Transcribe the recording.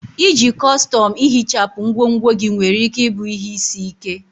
Iji kọstọm ihichapụ ngwongwo gị nwere ike ịbụ ihe isi ike.